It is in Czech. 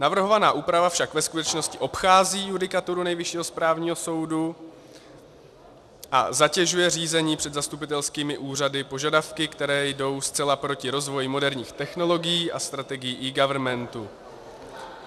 Navrhovaná úprava však ve skutečnosti obchází judikaturu Nejvyššího správního soudu a zatěžuje řízení před zastupitelskými úřady požadavky, které jdou zcela proti rozvoji moderních technologií a strategií eGovernmentu.